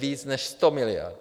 Více než 100 miliard.